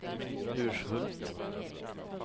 Urshult